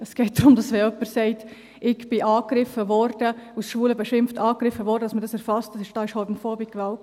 Es geht darum, dass man, wenn jemand sagt: «Ich wurde angegriffen und als Schwuler beschimpft», erfasst, dass es homophobe Gewalt war.